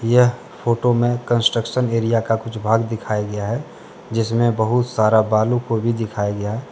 यह फोटो में construction area का कुछ भाग दिखाया गया है जिसमें बहुत सारा बालू को भी दिखाया गया।